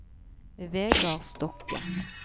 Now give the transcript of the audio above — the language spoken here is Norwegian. Vegar Stokke